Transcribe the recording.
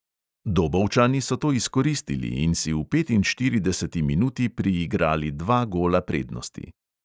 Dobovčani so to izkoristili in si v petinštirideseti minuti priigrali dva gola prednosti.